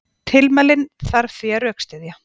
Tilmælin þarf því að rökstyðja.